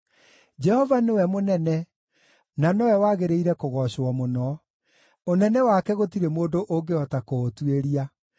Jehova nĩwe mũnene, na nowe wagĩrĩire kũgoocwo mũno; ũnene wake gũtirĩ mũndũ ũngĩhota kũũtuĩria.